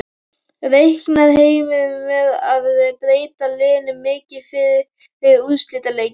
Reiknar Heimir með að breyta liðinu mikið fyrir úrslitaleikinn?